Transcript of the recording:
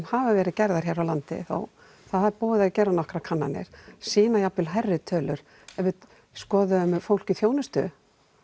hafa verið gerðar hér á landi það er búið að gera nokkrar kannanir sýna jafnvel hærri tölur við skoðuðum fólk í þjónustugeirum